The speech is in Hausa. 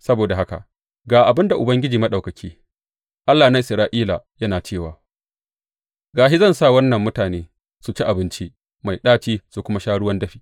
Saboda haka, ga abin da Ubangiji Maɗaukaki, Allah na Isra’ila yana cewa, Ga shi zan sa wannan mutane su ci abinci mai ɗaci su kuma sha ruwan dafi.